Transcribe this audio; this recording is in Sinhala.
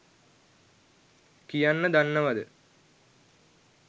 කියන්න දන්නවද?